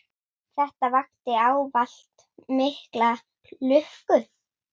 Þetta vakti ávallt mikla lukku.